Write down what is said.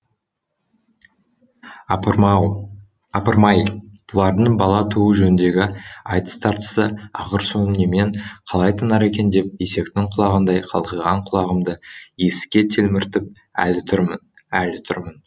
апырмай бұлардың бала туу жөніндегі айтыс тартысы ақыр соңы немен қалай тынар екен деп есектің құлағындай қалқиған құлағымды есікке телміртіп әлі тұрмын әлі тұрмын